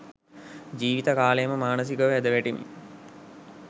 ජීවිත කාලයම මානසිකව ඇදවැටෙමින්